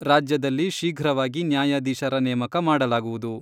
ರಾಜ್ಯದಲ್ಲಿ ಶೀಘ್ರವಾಗಿ ನ್ಯಾಯಾಧೀಶರ ನೇಮಕ ಮಾಡಲಾಗುವುದು.